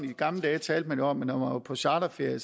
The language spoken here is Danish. i gamle dage talte man jo om at når man var på charterferie